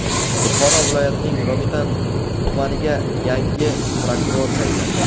Buxoro viloyatining Romitan tumaniga yangi prokuror tayinlandi.